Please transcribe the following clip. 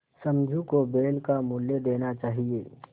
समझू को बैल का मूल्य देना चाहिए